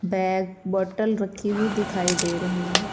Pack bottle रखी हुई दिखाई दे रही हैं।